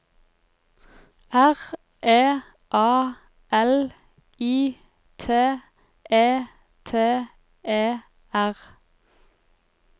R E A L I T E T E R